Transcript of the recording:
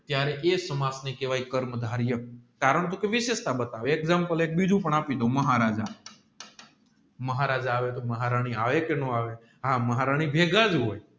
ત્યારે સમર્થ ને કેહવાય કર્મ ધારિયા કારણકે વિષેસતા બતાવે એક્ષામપ્લે એક બીજુપણ આપી દાવ મહારાજા મહારાજા આવે તોહ મહારાણી આવે કે નો આવે મહારાણી ભેગાજ હોય